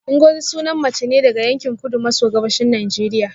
Ngozi sunan mace ne daga yankin kudu maso gabashin Najeriya